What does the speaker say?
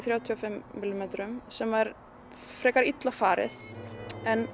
þrjátíu og fimm sem var frekar illa farið